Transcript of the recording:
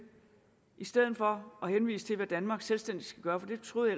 i stedet for at henvise til hvad danmark selvstændigt skal gøre for det troede